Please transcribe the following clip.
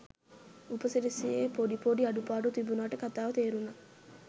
උපසිරැසියේ පොඩි පොඩි අඩුපාඩු තිබුනට කතාව තේරුනා.